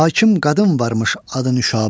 Hakim qadın varmış adı Nüşabə.